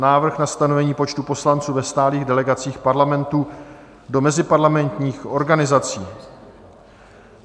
Návrh na stanovení počtu poslanců ve stálých delegacích Parlamentu do meziparlamentních organizací